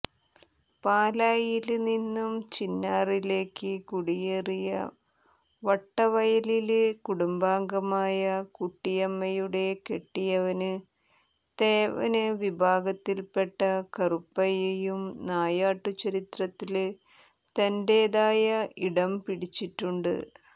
പാലായില്നിന്നു ചിന്നാറിലേക്ക് കുടിയേറിയ വട്ടവയലില് കുടുംബാംഗമായ കുട്ടിയമ്മയുടെ കെട്ടിയവന് തേവന് വിഭാഗത്തില്പെട്ട കറുപ്പയ്യയും നായാട്ടു ചരിത്രത്തില് തന്റെതായ ഇടം പിടിച്ചിട്ടുണ്ട്